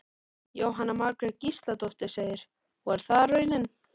Jóhanna Margrét Gísladóttir: Og er það raunin?